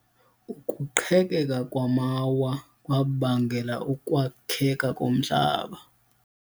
Ukuqhekeka kwamawa kwabangela ukwakheka komhlaba.